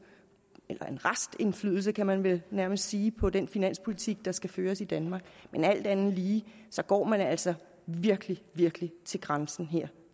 eller en restindflydelse kan man vel nærmest sige på den finanspolitik der skal føres i danmark men alt andet lige går man altså virkelig virkelig til grænsen her